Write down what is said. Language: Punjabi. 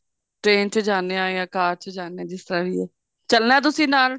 ਤਰੀਆਂ ਚ ਜਾਣੇ ਆ ਜਾਂ car ਚ ਜਿਸ ਤਰ੍ਹਾਂ ਵੀ ਹੈ ਚੱਲਣਾ ਤੁਸੀਂ ਨਾਲ